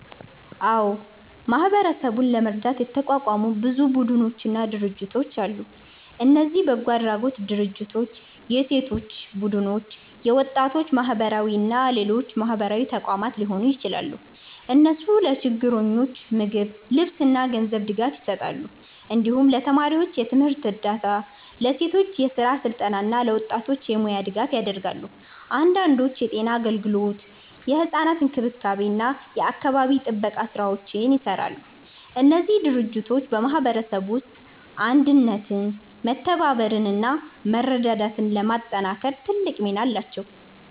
አዎ፣ ማህበረሰቡን ለመርዳት የተቋቋሙ ብዙ ቡድኖችና ድርጅቶች አሉ። እነዚህ በጎ አድራጎት ድርጅቶች፣ የሴቶች ቡድኖች፣ የወጣቶች ማህበራት እና ሌሎች ማህበራዊ ተቋማት ሊሆኑ ይችላሉ። እነሱ ለችግረኞች ምግብ፣ ልብስ እና ገንዘብ ድጋፍ ይሰጣሉ። እንዲሁም ለተማሪዎች የትምህርት እርዳታ፣ ለሴቶች የስራ ስልጠና እና ለወጣቶች የሙያ ድጋፍ ያደርጋሉ። አንዳንዶቹ የጤና አገልግሎት፣ የሕፃናት እንክብካቤ እና የአካባቢ ጥበቃ ስራዎችንም ይሰራሉ። እነዚህ ድርጅቶች በማህበረሰቡ ውስጥ አንድነትን፣ መተባበርን እና መረዳዳትን ለማጠናከር ትልቅ ሚና አላቸው።